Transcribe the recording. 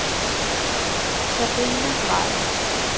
Sabrina Drejer